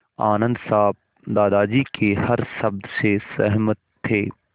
आनन्द साहब दादाजी के हर शब्द से सहमत थे